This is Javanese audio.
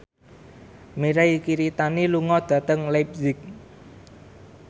Mirei Kiritani lunga dhateng leipzig